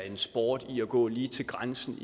en sport at gå lige til grænsen